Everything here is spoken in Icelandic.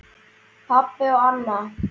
Pabbi og Anna.